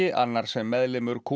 annar sem meðlimur ku